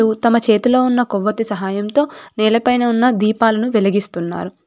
తమ చేతిలో ఉన్న కొవ్వొత్తి సహాయంతో నేలపైన ఉన్న దీపాలను వెలిగిస్తున్నారు.